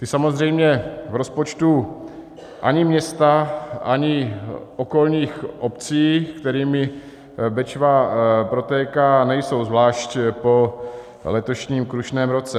Ty samozřejmě v rozpočtu ani města ani okolních obcí, kterými Bečva protéká, nejsou, zvlášť po letošním krušném ruce.